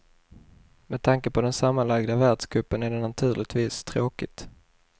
Med tanke på den sammanlagda världscupen är det naturligtvis tråkigt.